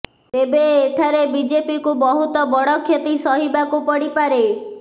ତେବେ ଏଠାରେ ବିଜେପିକୁ ବହୁତ ବଡ଼ କ୍ଷତି ସହିବାକୁ ପଡିପାରେ